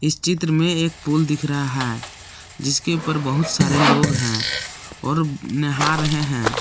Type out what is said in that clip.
इस चित्र में एक पूल दिख रहा है जिसके ऊपर बहुत सारे लोग हैं और नहा रहे हैं।